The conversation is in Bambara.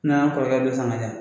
N'an kɔrɔkɛ dɔ san ka di yan